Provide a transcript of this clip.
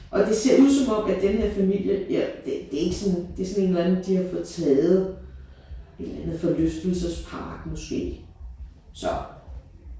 Og det ser ud som om at den her familie jeg det det er ikke sådan det er sådan en eller andet de har fået taget en eller anden forlystelsespark måske så